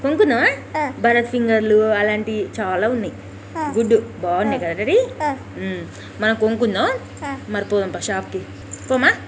కొనుక్కుందామా భరత్ లూ అలాంటియి చాలా ఉన్నయి గుడ్ బాగున్నయ్ కదా డడీ మనం కొనుక్కుందాం మరి పోదాం ప షాప్ కి పోమా.